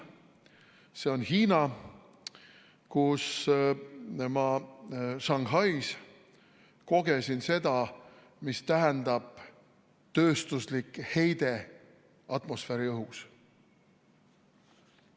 See on Hiina, kus ma Shanghais kogesin seda, mida tähendab tööstuslik heide atmosfääriõhus.